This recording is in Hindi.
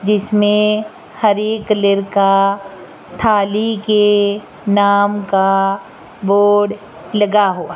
जिसमें हरी कलर का थाली के नाम का बोर्ड लगा हुआ --